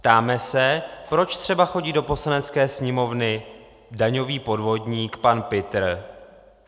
Ptáme se, proč třeba chodí do Poslanecké sněmovny daňový podvodník pan Pitr.